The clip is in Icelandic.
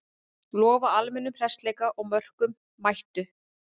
Lofa almennum hressleika og mörkum, mættu!